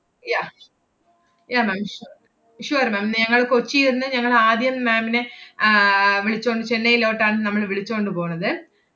yeah yeah ma'am su~ sure ma'am ഞങ്ങൾ കൊച്ചി എന്ന് ഞങ്ങൾ ആദ്യം ma'am നെ ആഹ് വിളിച്ചോണ്~ ചെന്നൈലോട്ടാണ് നമ്മള് വിളിച്ചോണ്ട് പോണത്.